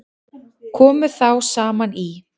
Komu þá saman í